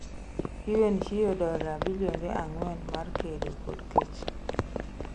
UN chiwo dola bilionde ang'wen mar kedo kod kech